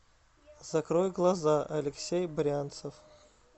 закрой глаза алексей брянцев